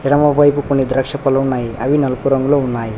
ఎడమవైపు కొన్ని ద్రాక్ష పలు ఉన్నాయి అవి నలుపు రంగులో ఉన్నాయి.